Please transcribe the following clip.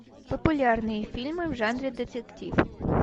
популярные фильмы в жанре детектив